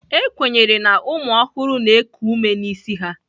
Ekwenyere na ụmụ ọhụrụ na-eku ume n'isi ha.